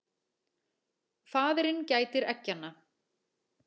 Faðirinn gætir eggjanna.